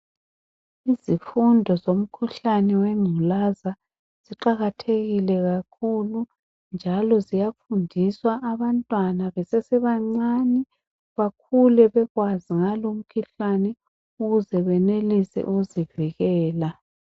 Izifundo zomkhuhlane wengculaza ziqakathekile kakhulu njalo ziyafundiswa abantwana besesebancane bakhule bazi ngalomkhuhlane ukuze benelise ukuzivikela.